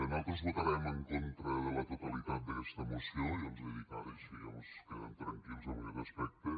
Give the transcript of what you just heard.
nosaltres votarem en contra de la totalitat d’aquesta moció ja els ho dic ara així mos quedem tranquils en aquest aspecte